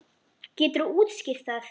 Geturðu útskýrt það?